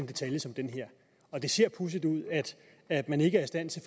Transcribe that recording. en detalje som den her og det ser pudsigt ud at man ikke er i stand til